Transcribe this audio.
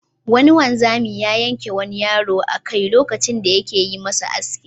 Wani wanzami ya yanki wani yaro a ka lokacin da yake yi masa aski.